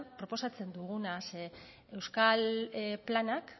proposatzen duguna euskal planak